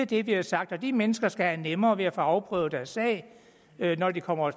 det vi har sagt de mennesker skal have nemmere ved at få afprøvet deres sag når de kommer